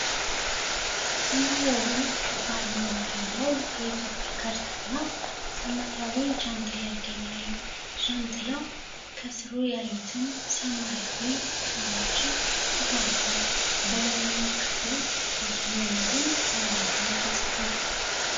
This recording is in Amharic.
ሰማያዊ ክብ አርማ መሃል ላይ የኢትዮጵያ ካርታ እና ሰማያዊ ጃንጥላ ይገኛሉ። ጃንጥላው ከሥሩ ያሉትን ሰማያዊ ሰዎችን ይጋርዳል። በላይኛው ክፍል የጤና መድን በአማርኛ ተጽፏል።